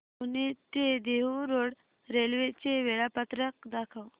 पुणे ते Dehu road railway चे वेळापत्रक दाखव